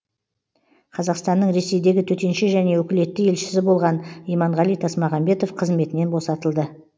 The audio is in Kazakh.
қазақстанның ресейдегі төтенше және өкілетті елшісі болған иманғали тасмағамбетов қызметінен босатылды